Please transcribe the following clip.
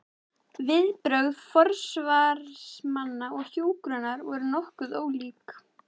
Viðbrögð forsvarsmanna hjúkrunar voru nokkuð ólík.